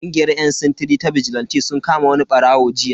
Kungiyar yan sintiri ta bijilanti sun kama wani barawo jiya.